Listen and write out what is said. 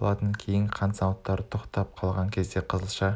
болатын кейін қант зауыттары тоқтап қалған кезде қызылша